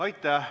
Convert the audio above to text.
Aitäh!